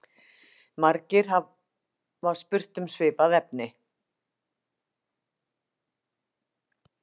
Margir hafa spurt um svipað efni.